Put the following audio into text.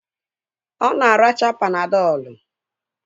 Ọ na-ara Panadọlu